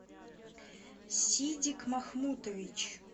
сидик махмутович